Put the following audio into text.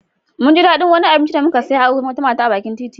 Mun ji daɗin wani abinci da muka saya a wurin wata mata a bakin titi.